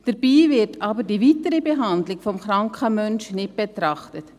Dabei wird aber die weitere Behandlung des kranken Menschen nicht beachtet.